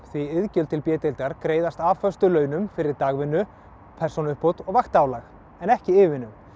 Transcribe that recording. því iðgjald til b deildar greiðist af föstum launum fyrir dagvinnu persónuuppbót og vaktaálagi en ekki yfirvinnu